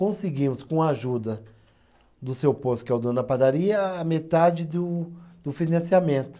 Conseguimos, com a ajuda do seu posto, que é o Dono Padaria, a metade do do financiamento.